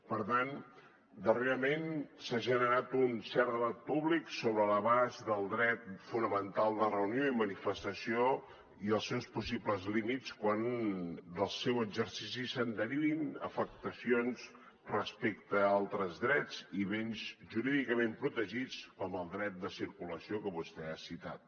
per tant darrerament s’ha generat un cert debat públic sobre l’abast del dret fonamental de reunió i manifestació i els seus possibles límits quan del seu exercici es derivin afectacions respecte a altres drets i béns jurídicament protegits com el dret de circulació que vostè ha citat